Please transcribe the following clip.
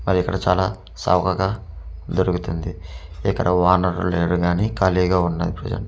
మరి ఇక్కడ చాలా చౌకగా దొరుకుతుంది ఇక్కడ ఓనర్ లేరు కానీ ఖాళీగా ఉన్నది ప్రెజంట్ .